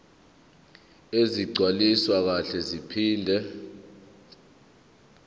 ezigcwaliswe kahle zaphinde